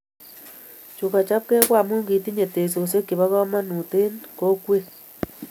Chu kobkek ko amu kitinye teksosiek chebo kamanutishek eng kokwet